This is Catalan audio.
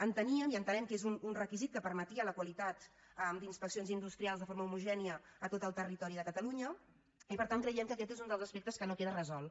enteníem i entenem que és un requisit que permetia la qualitat d’inspeccions industrials de forma homogènia a tot el territori de catalunya i per tant creiem que aquest és un dels aspectes que no queda resolt